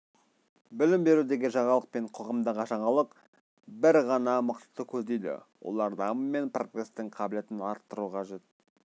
білім берудегі жаңалық пен қоғамдағы жаңалық бір ғана мақсатты көздейді олар даму мен прогрестің қабілетін арттыруы қажет